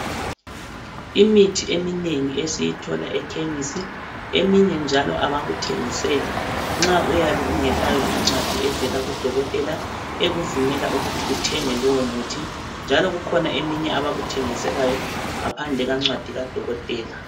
Imithi eminengi esiyithola ekhemisi eminye njalo abakuthengiseli nxa uyabe ungelayo incwadi evela kudokotela ekuvumela ukuthi uthenge lowomuthi njalo kukhona eminye abakuthengiselayo ngaphandle kwencwadi kadokotela.